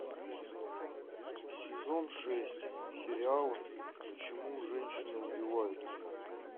сезон шесть сериал почему женщины убивают